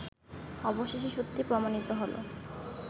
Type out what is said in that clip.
অবশেষে সত্যি প্রমাণিত হল